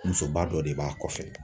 Musoba dɔ de b'a kɔfɛ!